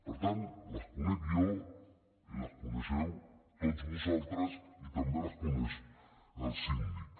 per tant les conec jo i les coneixeu tots vosaltres i també les coneix el síndic